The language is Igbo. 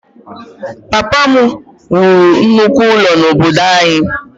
Papa m wuru nnukwu ụlọ n’obodo anyị.